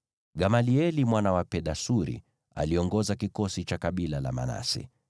Gamalieli mwana wa Pedasuri aliongoza kikosi cha kabila la Manase,